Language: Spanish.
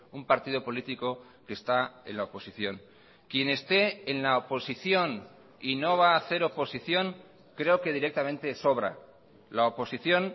un partido político que está en la oposición quien esté en la oposición y no va a hacer oposición creo que directamente sobra la oposición